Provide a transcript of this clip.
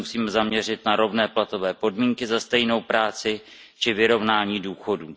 se musíme zaměřit na rovné platové podmínky za stejnou práci či vyrovnání důchodů.